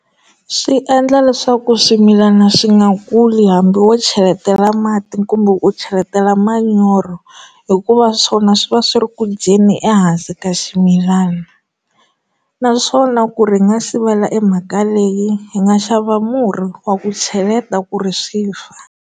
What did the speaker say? Swiendla leswaku swimilana swi nga kuli hambi wo cheletela mati kumbe u cheletela manyoro hikuva swona swi va swi ri ku dyeni ehansi ka ximilana naswona ku ri nga sivela emhaka leyi hi nga xava murhi wa ku cheleta ku ri swi fa.